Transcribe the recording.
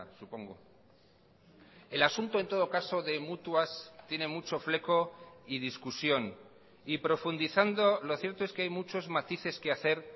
supongo el asunto en todo caso de mutuas tiene mucho fleco y discusión y profundizando lo cierto es que hay muchos matices que hacer